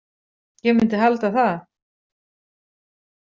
Ég myndi halda það.